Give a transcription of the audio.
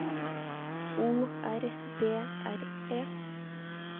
O R D R E